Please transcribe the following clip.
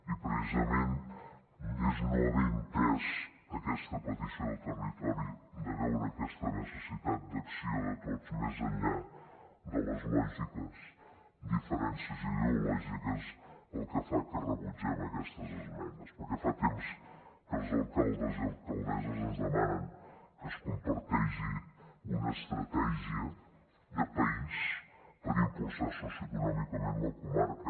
i precisament és no haver entès aquesta petició del territori de veure aquesta necessitat d’acció de tots més enllà de les lògiques diferències ideològiques el que fa que rebutgem aquestes esmenes perquè fa temps que els alcaldes i alcaldesses ens demanen que es comparteixi una estratègia de país per impulsar socioeconòmicament la comarca